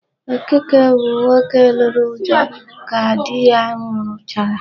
Okeke bụ nwoke lụrụ Uju ka di ya nwụrụchara.